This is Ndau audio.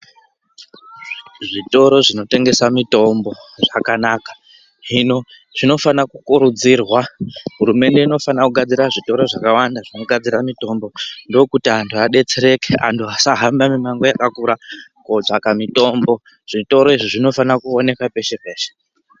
Zvitoro zvinotengesa mitombo zvakanaka. Hino zvinofana kukurudzirwa. Hurumende inofana kugadzira zvitoro zvakawanda zvinogadzira mitombo ndokuti antu adetsereke antu asahamba mimango yakakura kotsvaka mitombo. Zvitoro izvo zvinofana kuoneka peshe-peshe.